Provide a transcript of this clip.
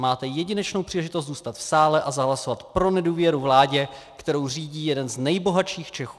Máte jedinečnou příležitost zůstat v sále a zahlasovat pro nedůvěru vládě, kterou řídí jeden z nejbohatších Čechů.